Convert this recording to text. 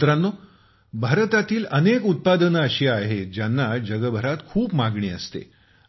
मित्रांनो भारतातील अनेक उत्पादने अशी आहेत ज्यांना जगभरात खूप मागणी असते